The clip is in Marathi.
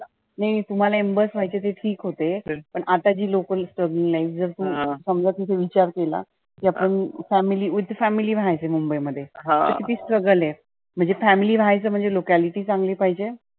नाही तुम्हाला ambus व्हायचे ते ठिक होते पण आताची local strugling life जर समजा तिथं विचारलेला. जब हम family, with family रहायचे मुंबई मध्ये. तर किती struggle आहे. म्हणजे family रहायचं म्हणजे locality चांगली पाहिजे